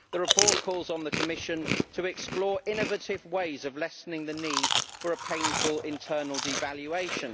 The report calls on the Commission to explore innovative ways of lessening the need for a painful internal devaluation.